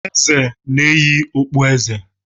Eze na-eyi okpueze.